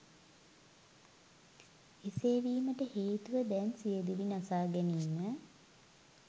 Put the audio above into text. එසේ වීමට හේතුව දැන් සියදිවි නසා ගැනීම